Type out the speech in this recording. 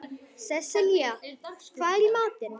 Sesselja, hvað er í matinn?